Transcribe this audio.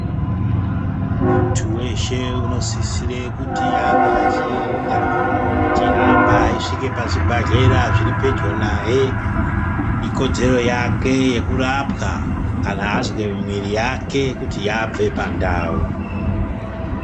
Muntu weshe anosisira kuti ange achienda achihamba achisvika pazvibhedhlera zviri Pedro naye ikodzero yake kurapwa kana azwa mwiri yake kuti yabve pandau.